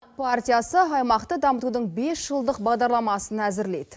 партиясы аймақты дамытудың бес жылдық бағдарламасын әзірлейді